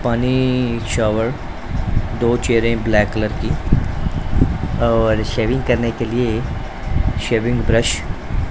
पानी शॉवर दो चेयर है ब्लैक कलर की ओर शेविंग करने के लिए शेविंग ब्रश --